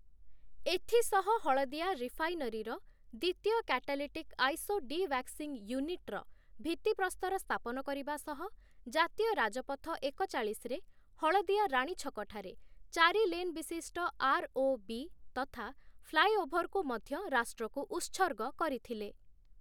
ଏଥିସହ ହଳଦିଆ ରିଫାଇନରିର, ଦ୍ୱିତୀୟ କାଟାଲିଟିକ୍‌ ଆଇସୋଡିୱାକ୍ସିଙ୍ଗ ୟୁନିଟ୍‌ର ଭିତ୍ତିପ୍ରସ୍ତର ସ୍ଥାପନ କରିବା ସହ ଜାତୀୟ ରାଜପଥ ଏକଚାଳିଶରେ ହଳଦିଆ ରାଣୀଛକଠାରେ ଚାରି ଲେନ୍‌ବିଶିଷ୍ଟ ଆର୍‌.ଓ.ବି. ତଥା ଫ୍ଲାଏଓଭରକୁ ମଧ୍ୟ ରାଷ୍ଟ୍ରକୁ ଉତ୍ସର୍ଗ କରିଥିଲେ ।